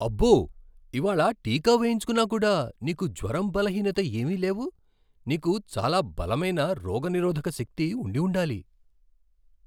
అబ్బో! ఇవాళ్ళ టీకా వేయించుకున్నా కూడా, నీకు జ్వరం, బలహీనత ఏమీ లేవు. నీకు చాలా బలమైన రోగనిరోధక శక్తి ఉండి ఉండాలి!